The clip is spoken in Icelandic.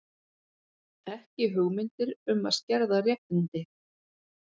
Ekki hugmyndir um að skerða réttindi